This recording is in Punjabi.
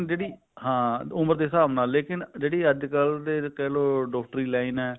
ਜਿਹੜੀ ਹਾਂ ਉਮਰ ਦੇ ਹਿਸਾਬ ਨਾਲ ਜਿਹੜੇ ਅੱਜਕਲ ਦੇ ਡਾਕਟਰੀ line ਹੈ